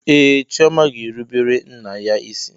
Ee, Chioma ga-erubere nna ya isi.